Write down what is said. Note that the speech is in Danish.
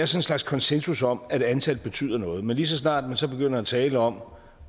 slags konsensus om at antal betyder noget men lige så snart man så begynder at tale om